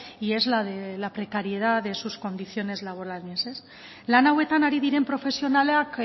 y es la de la precariedad de sus condiciones laborales lan hauetan ari diren profesionalak